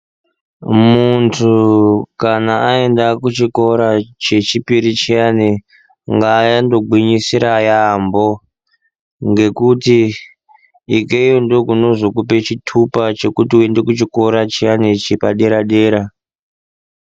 Muntu kana aenda kuchikora chechiri chiyani ngaandogwinyisira yaambo ngekuti ikeyo ndokunozokupa chitupa chekuti uyenge kuchikora chiyani chepadera dera.